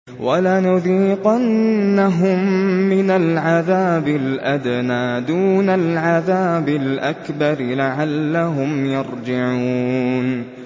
وَلَنُذِيقَنَّهُم مِّنَ الْعَذَابِ الْأَدْنَىٰ دُونَ الْعَذَابِ الْأَكْبَرِ لَعَلَّهُمْ يَرْجِعُونَ